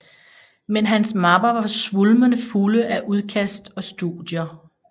Men hans mapper var svulmende fulde af udkast og studier